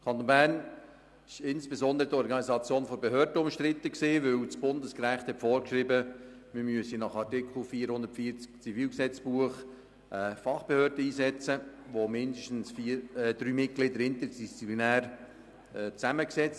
Im Kanton Bern war insbesondere die Organisation der Behörden umstritten, denn das Bundesrecht hat vorgeschrieben, man müsse nach Artikel 440 des Schweizerischen Zivilgesetzbuchs (ZGB) eine Fachbehörde einsetzen, bei der mindestens drei Mitglieder interdisziplinär sind.